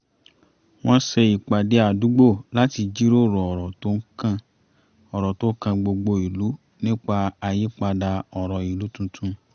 wọ́n ṣe ìpàdé àdúgbò láti jíròrò ọ̀rọ̀ tó kan gbogbo ìlú nípa àyípadà ọ̀rọ̀ ìlú tuntun